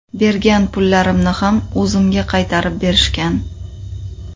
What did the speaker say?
Bergan pullarimni ham o‘zimga qaytarib berishgan.